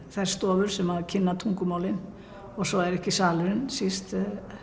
þær stofur sem kynna tungumálin og svo er ekki salurinn síst